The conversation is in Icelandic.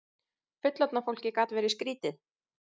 Fullorðna fólkið gat verið skrýtið.